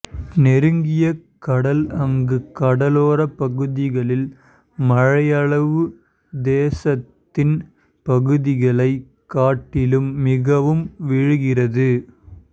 நெருங்கிய கடல் அங்கு கடலோர பகுதிகளில் மழையளவு தேசத்தின் பகுதிகளைக் காட்டிலும் மிகவும் விழுகிறது